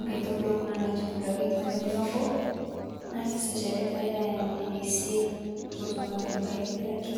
Nkaitubuluu kuna naitubuluaki to ng'ojii naboo naa kesasharii pee eyaai ng'ojii naisia poo otuum aitubuluaki aitibirakii.